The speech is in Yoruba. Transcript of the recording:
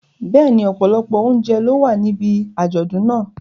Bẹ́ẹ̀ni, ọ̀pọ̀lọpọ̀ oúnjẹ ló wà níbi àjọ̀dún náà.